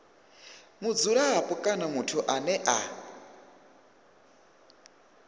mudzulapo kana muthu ane a